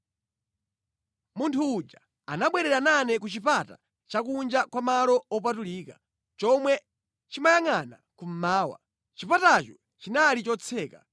Munthu uja anabwerera nane ku chipata chakunja kwa malo opatulika, chomwe chimayangʼana kummawa. Chipatacho chinali chotseka.